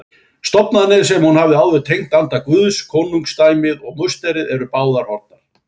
Stofnanirnar sem hún hafði áður tengt anda Guðs, konungdæmið og musterið, voru báðar horfnar.